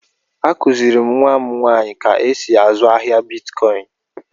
Akùziri m nwa m nwaanyị ka e sị azụ ahịa Bịtkọin